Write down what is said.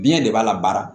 Biɲɛ de b'a la baara